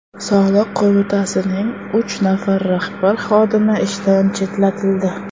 Soliq qo‘mitasining uch nafar rahbar xodimi ishdan chetlatildi.